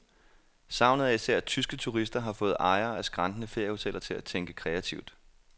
Savnet af især tyske turister har fået ejere af skrantende feriehoteller til at tænke kreativt.